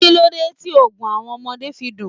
Kíló dé tí Ògùn àwọn ọmọdé fi dùn?